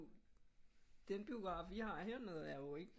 Den biograf vi har hernede er jo ikke